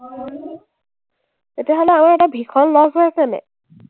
তেতিয়াহ’লে আমাৰ এটা ভীষণ loss হৈ আছে নাই?